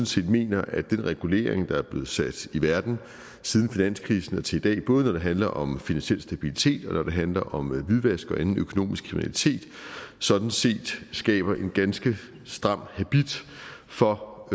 set mener at den regulering der er blevet sat i verden siden finanskrisen og til i dag både når det handler om finansiel stabilitet og når det handler om hvidvask og anden økonomisk kriminalitet sådan set skaber en ganske stram habit for